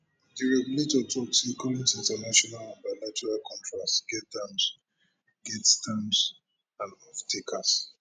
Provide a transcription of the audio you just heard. di regulator tok say current international and bilateral contracts get terms get terms and offtakers